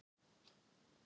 Leggst þunglega í okkur